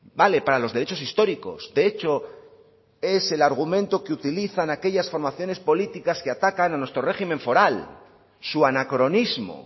vale para los derechos históricos de hecho es el argumento que utilizan aquellas formaciones políticas que atacan a nuestro régimen foral su anacronismo